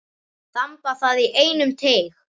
Þamba það í einum teyg.